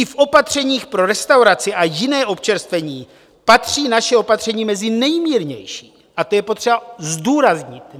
I v opatřeních pro restauraci a jiné občerstvení patří naše opatření mezi nejmírnější a to je potřeba zdůraznit.